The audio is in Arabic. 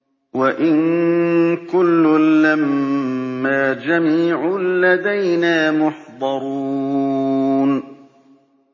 وَإِن كُلٌّ لَّمَّا جَمِيعٌ لَّدَيْنَا مُحْضَرُونَ